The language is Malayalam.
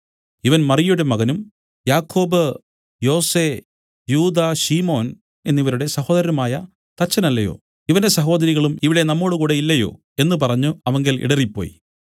ഇവൻ മറിയയുടെ മകനും യാക്കോബ് യോസെ യൂദാ ശിമോൻ എന്നവരുടെ സഹോദരനുമായ തച്ചനല്ലയോ ഇവന്റെ സഹോദരികളും ഇവിടെ നമ്മോടുകൂടെ ഇല്ലയോ എന്നു പറഞ്ഞു അവങ്കൽ ഇടറിപ്പോയി